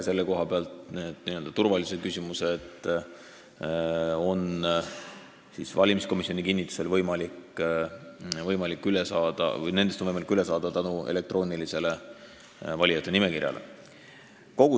Selle koha pealt on nendest n-ö turvalisusküsimustest valimiskomisjoni kinnitusel võimalik üle saada tänu elektroonilisele valijate nimekirjale.